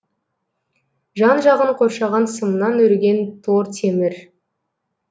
жан жағын қоршаған сымнан өрген тор темір